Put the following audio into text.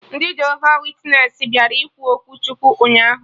Ndị Jehova witnesị bịara ikwu okwu Chukwu ụnyaahụ